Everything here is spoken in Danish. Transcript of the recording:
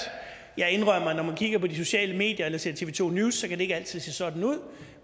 jeg indrømmer at når man kigger på de sociale medier eller ser tv to news kan det ikke altid se sådan ud